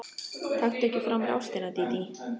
Taktu ekki frá mér ástina, Dídí.